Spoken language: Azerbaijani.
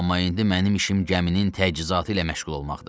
Amma indi mənim işim gəminin təchizatı ilə məşğul olmaqdır.